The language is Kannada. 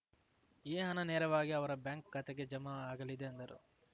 ಈ ಹಣ ನೇರವಾಗಿ ಅವರ ಬ್ಯಾಂಕ್‌ ಖಾತೆಗೆ ಜಮಾ ಆಗಲಿದೆ ಎಂದರು